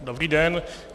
Dobrý den.